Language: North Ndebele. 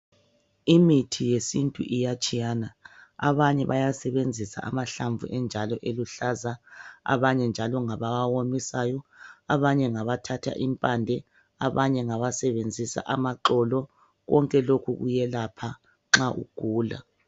Imithi yesintu iyatshiyana, abanye bayasebenzisa amahlamvu enjalo eluhlaza abanye njalo ngabawawomisayo, abanye ngabathatha impande , abanye ngabasebenzisa amaxolo konke lokhu kuyelapha nxa ugula